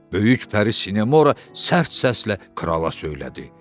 Böyük pəri Sinemora sərt səslə krala söylədi.